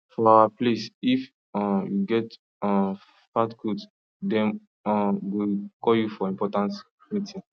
for our place if um you get um fat goat dem um go call you for important meeting